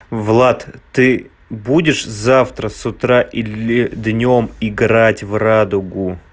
влад ты будешь завтра с утра или днём играть в радугу